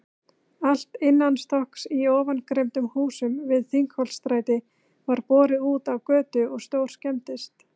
Allt innanstokks í ofangreindum húsum við Þingholtsstræti var borið útá götu og stórskemmdist.